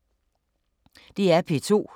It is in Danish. DR P2